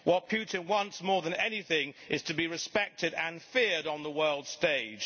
What Putin wants more than anything is to be respected and feared on the world's stage.